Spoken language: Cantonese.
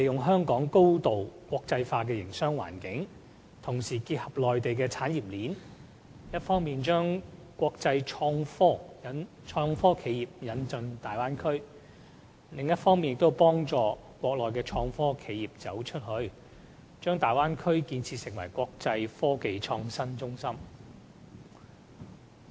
香港高度國際化的營商環境，結合內地的產業鏈，一方面可將國際創科企業引進大灣區，另一方面，可幫助國內創科企業"走出去"，將大灣區建設成為"國際科技創新中心"。